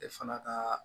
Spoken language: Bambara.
E fana ka